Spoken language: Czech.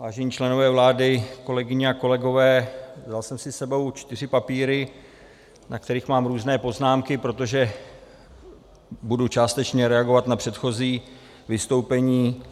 Vážení členové vlády, kolegyně a kolegové, vzal jsem si s sebou čtyři papíry, na kterých mám různé poznámky, protože budu částečně reagovat na předchozí vystoupení